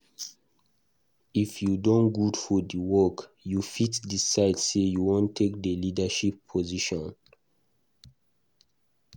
If you don good for di work, you fit decide sey you wan take leadership position